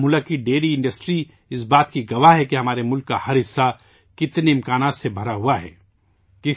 بارہمولہ کی ڈیری صنعت اس بات کی گواہ ہے کہ ہمارے ملک کا ہر حصہ اتنے امکانات سے بھرا ہوا ہے